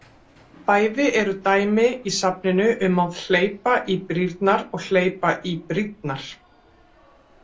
Bæði eru dæmi í safninu um að hleypa í brýrnar og hleypa í brýnnar.